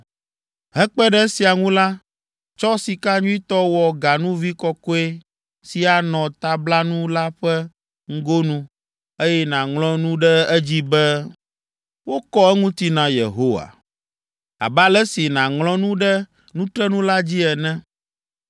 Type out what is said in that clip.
“Hekpe ɖe esia ŋu la, tsɔ sika nyuitɔ wɔ ganuvi kɔkɔe si anɔ tablanu la ƒe ŋgonu, eye nàŋlɔ nu ɖe edzi be, wokɔ eŋuti na Yehowa, abe ale si nàŋlɔ nu ɖe nutrenu la dzi ene.